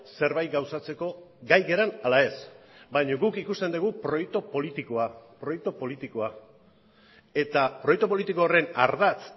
zerbait gauzatzeko gai garen ala ez baina guk ikusten dugu proiektu politikoa proiektu politikoa eta proiektu politiko horren ardatz